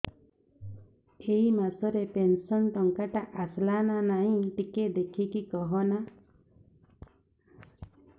ଏ ମାସ ରେ ପେନସନ ଟଙ୍କା ଟା ଆସଲା ନା ନାଇଁ ଟିକେ ଦେଖିକି କହନା